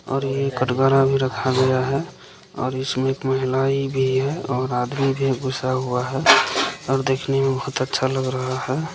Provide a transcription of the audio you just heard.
और ये खटगरा भी रखा गया है और इसमे एक महिलाई भी है और एक आदमी भी घुसा हुआ है और देखने मे बहुत ही अच्छा लग रहा है।